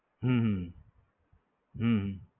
હમ હમ